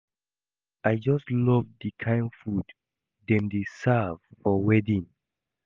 I just love the kin food dem dey serve for wedding